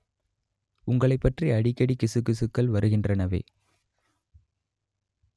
உங்களைப் பற்றி அடிக்கடி கிசுகிசுக்கள் வருகின்றனவே